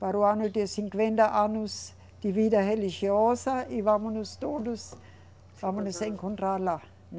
Para o ano de cinquenta anos de vida religiosa e vamos nós todos, vamos nos encontrar lá.